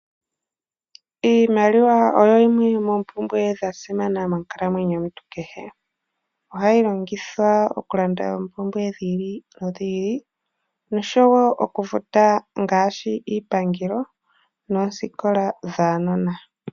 Iimaliwa oyo yimwe yomoompumbwe ya simana monkalamwenyo yomuntu kehe. Ohayi longithwa okulanda oompumbwe dhi ili nodhi ili, nosho wo okufuta ngaashi iipangelo noosikola dhaanona.